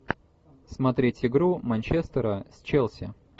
смотреть игру манчестера с челси